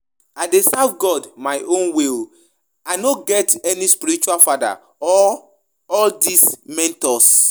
I dey serve God my own way oo, I no get any spiritual father or all dis mentors